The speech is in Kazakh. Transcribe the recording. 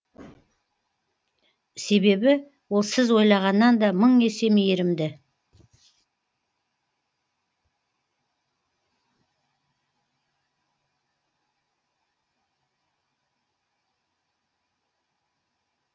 себебі ол сіз ойлағаннан да мың есе мейірімді